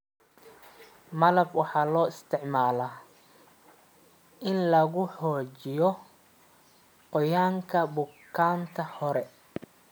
malab waxaa loo isticmaalaa in lagu xoojiyo qoyaanka buugaagta hore.